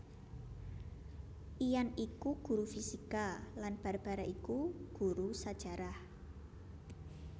Ian iku guru fisika lan Barbara iku guru sajarah